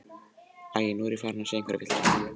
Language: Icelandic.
Æi, nú er ég farin að segja einhverja vitleysu.